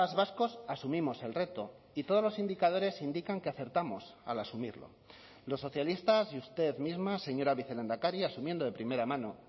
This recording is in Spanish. vascos asumimos el reto y todos los indicadores indican que acertamos al asumirlo los socialistas y usted misma señora vicelehendakari asumiendo de primera mano